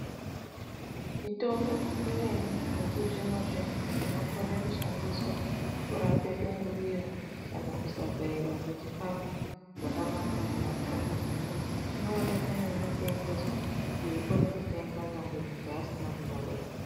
Mitombo imweni yechizvino zvino inokona kushandiswa kurapa dungurira kana kuzogaiwa kwechikafu zvakanaka mudumbu memuntu inoonekwa kwainotengeswa kuti ikone kutengwa chero muntu asina kunyorerwa.